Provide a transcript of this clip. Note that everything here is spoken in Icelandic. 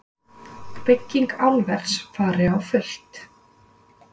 Bygging álvers fari á fullt